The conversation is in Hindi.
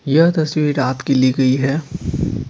यह तस्वीर रात की ली गई है।